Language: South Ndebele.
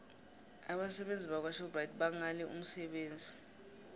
abasebenzi bakwashoprite bangale umsebenzi